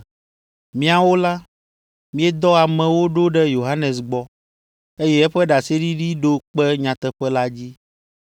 “Miawo la, miedɔ amewo ɖo ɖe Yohanes gbɔ, eye eƒe ɖaseɖiɖi ɖo kpe nyateƒe la dzi.